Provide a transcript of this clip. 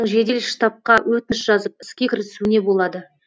жедел штабқа өтініш жазып іске кірісуіне болады